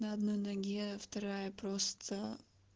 на одной ноге вторая просто